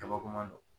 Kabakoman don